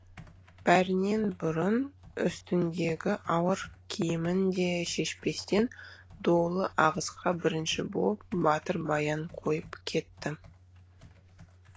бәрінен бұрын үстіндегі ауыр киімін де шешпестен долы ағысқа бірінші боп батыр баян қойып кетті